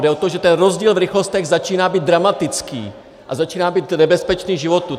Jde o to, že ten rozdíl v rychlostech začíná být dramatický a začíná být nebezpečný životu.